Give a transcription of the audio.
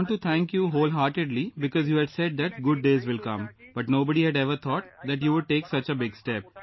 I want to thank you wholeheartedly because you had said that good days will come, but nobody had ever thought that you would take such a big step